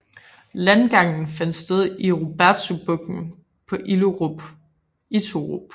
Landgangen fandt sted i Rubetzubugten på Iturup